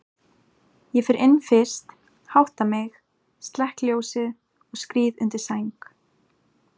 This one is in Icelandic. Ég fer inn fyrst, hátta mig, slekk ljósið og skríð undir sæng.